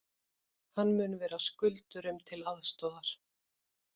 Hann mun vera skuldurum til aðstoðar